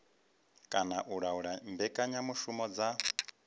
kana u laula mbekanyamushumo dza